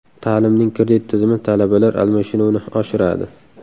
Ta’limning kredit tizimi talabalar almashinuvini oshiradi.